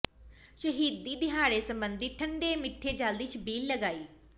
ਸ਼ਹੀਦੀ ਦਿਹਾੜੇ ਸਬੰਧੀ ਠੰਢੇ ਮਿੱਠੇ ਜਲ ਦੀ ਛਬੀਲ ਲਗਾਈ